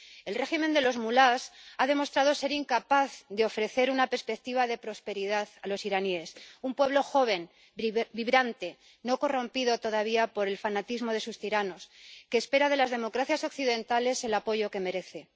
El régimen de los mulás ha demostrado ser incapaz de ofrecer una perspectiva de prosperidad a los iraníes, un pueblo joven, vibrante, no corrompido todavía por el fanatismo de sus tiranos, que espera de las democracias occidentales el apoyo que merece.